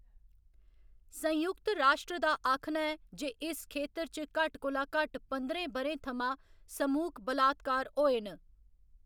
संयुक्त राश्ट्र दा आखना ऐ जे इस खेतर च घट्ट कोला घट्ट पंदरें ब'रें थमां समूह्‌‌क बलात्कार होए न।